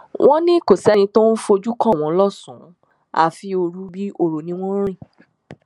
wọn ní kò sẹni tó ń fojú kàn wọn lọsànán àfi òru bíi ọrọ ni wọn ń rìn